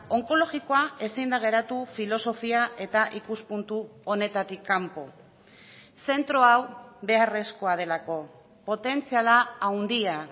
onkologikoa ezin da geratu filosofia eta ikuspuntu honetatik kanpo zentro hau beharrezkoa delako potentziala handia